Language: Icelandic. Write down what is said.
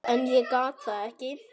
En ég gat það ekki.